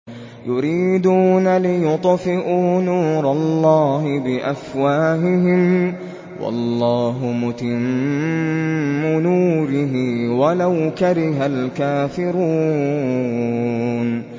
يُرِيدُونَ لِيُطْفِئُوا نُورَ اللَّهِ بِأَفْوَاهِهِمْ وَاللَّهُ مُتِمُّ نُورِهِ وَلَوْ كَرِهَ الْكَافِرُونَ